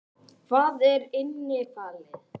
Hvað er innifalið?